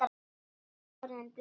Ég er orðinn blaut